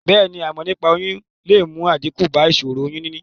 Bèéni, ìmò nípaa oyún le mu àdíkù ba ìsòro oyún níní